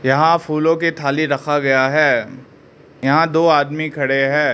यहां फूलों की थाली रखा गया है यहां दो आदमी खड़े है।